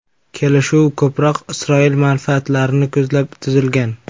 Kelishuv ko‘proq Isroil manfaatlarini ko‘zlab tuzilgan.